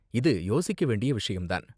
இது யோசிக்க வேண்டிய விஷயம் தான்.